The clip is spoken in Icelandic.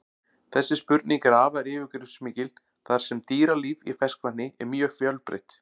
Þessi spurning er afar yfirgripsmikil þar sem dýralíf í ferskvatni er mjög fjölbreytt.